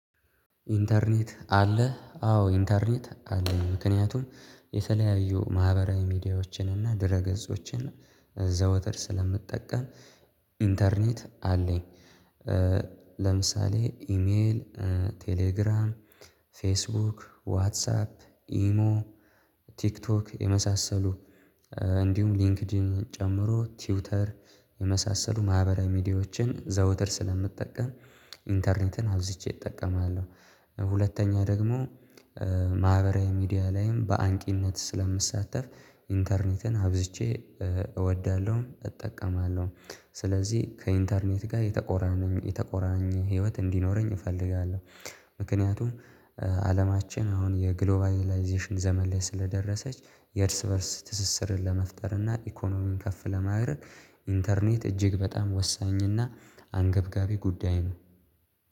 ኢንተርኔት አለ አዎ ኢንተርኔት አለኝ ምክንያቱም የተለያዩ ማህበራዊ ሚዲያዎችን እና ድረ ገጾችን ዘወትር ስለምጠቀም ኢንተርኔት አለኝ። ለምሳሌ ኢሜል ቴሌግራም ፌስቡክ ዋትሳፕ ኢሞ ቲክቶክ የመሳሰሉ እንዲሁም ሊንክድን ጨምሮ ትዊተር ማህበራዊ ሚዲያዎችን ዘወትር ስለምጠቀም ኢንተርኔትን አብዝቼ እጠቀማለሁ። ሁለተኛ ደግሞ ማህበራዊ ሚዲያ ላይም በአንቂነት ስለምሳተፍ ኢንተርኔትን አብዝቼ እወዳለሁ እጠቀማለሁ። ስለዚህ ከኢንተርኔት ጋር የተቆራኘ ህይወት እንዲኖረኝ እፈልጋለሁ። ምክንያቱም አለማችን አሁን የግሎባላይዜሽን ዘመን ላይ ስለደረሰች የእርስ በእርስ ትስስርን ለመፍጠር እና ኢኮኖሚን ከፍ ለማድረግ ኢንተርኔት እጅግ በጣም ወሳኝና አንገብጋቢ ጉዳይ ነው